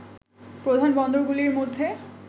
প্রধান বন্দরগুলির মধ্যে